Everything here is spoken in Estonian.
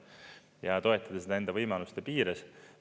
Ja toetada nende võimaluste piires.